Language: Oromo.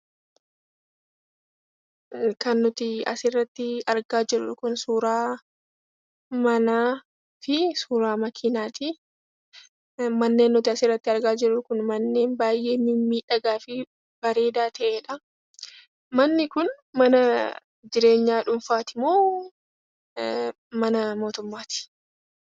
Kan nuti asirratti argaa jirru kun suura manaa fi suura manaati. Manneen asirratti argaa jirru kun manneen baay'ee mimmiidhagaa fi bareedaa ta'edha. Manni kun mana jireenyaa dhuunfaati moo kan mootummaati?